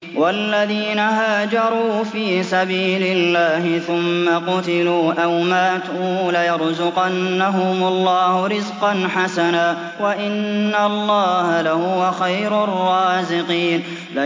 وَالَّذِينَ هَاجَرُوا فِي سَبِيلِ اللَّهِ ثُمَّ قُتِلُوا أَوْ مَاتُوا لَيَرْزُقَنَّهُمُ اللَّهُ رِزْقًا حَسَنًا ۚ وَإِنَّ اللَّهَ لَهُوَ خَيْرُ الرَّازِقِينَ